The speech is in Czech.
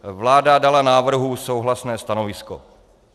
Vláda dala návrhu souhlasné stanovisko.